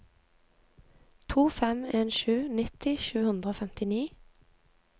to fem en sju nitti sju hundre og femtini